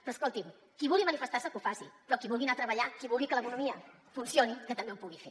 però escoltin qui vulgui manifestar se que ho faci però qui vulgui anar a treballar qui vulgui que l’economia funcioni que també ho pugui fer